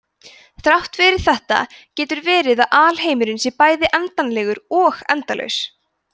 þrátt fyrir þetta getur verið að alheimurinn sé bæði endanlegur og endalaus